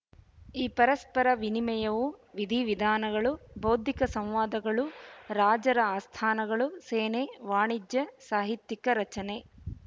ಈ ಪರಸ್ಪರ ವಿನಿಮಯವು ವಿಧಿವಿಧಾನಗಳು ಬೌದ್ಧಿಕ ಸಂವಾದಗಳು ರಾಜರ ಆಸ್ಥಾನಗಳು ಸೇನೆ ವಾಣಿಜ್ಯ ಸಾಹಿತ್ಯಿಕ ರಚನೆ